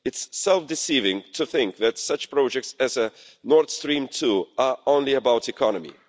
It's self-deceiving to think that such projects as Nord Stream 2 are only about the economy.